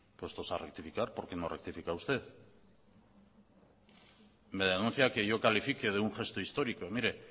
puestos a rectificar por qué no rectifica usted me denuncia que yo califique de un gesto histórico mire